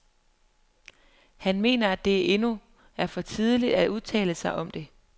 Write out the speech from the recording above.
Han mener, at det endnu er for tidligt at udtale sig om det.